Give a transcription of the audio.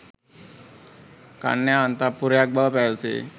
කන්‍යා අන්තඃපුරයක් බව පැවසේ.